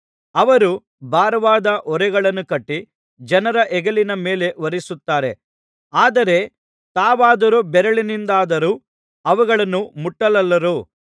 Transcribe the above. ಅವರು ಭಾರವಾದ ಹೊರೆಗಳನ್ನು ಕಟ್ಟಿ ಜನರ ಹೆಗಲಿನ ಮೇಲೆ ಹೊರಿಸುತ್ತಾರೆ ಆದರೆ ತಾವಾದರೋ ಬೆರಳಿನಿಂದಲಾದರೂ ಅವುಗಳನ್ನು ಮುಟ್ಟಲೊಲ್ಲರು